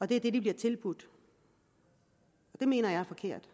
det er det de bliver tilbudt det mener jeg er forkert